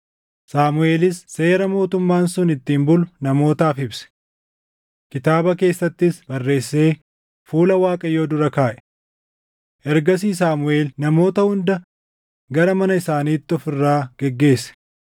Saamuʼeelis seera mootummaan sun ittiin bulu namootaaf ibse. Kitaaba keessattis barreessee fuula Waaqayyoo dura kaaʼe. Ergasii Saamuʼeel namoota hunda gara mana isaaniitti of irraa geggeesse.